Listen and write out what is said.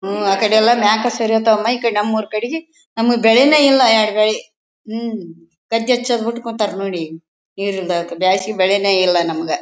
ಉಹ್ಹ್ ಆ ಕಡೆ ಎಲ್ಲಾ ಮೈಕ್ ನಮ್ ಊರ್ ಕಡಿಗೆ ನಮ್ಗ್ ಬೆಳೆನೆ ಇಲ್ಲಾ ಯಡಗೈ ಮ್ ಗದ್ದೆ ಹಚ್ ಕುಂತಾರ್ ನೋಡ್ರಿ ಜಾಸ್ತಿ ಬೆಳೆನೆ ಎಲ್ಲಾ ನಮ್ಗ.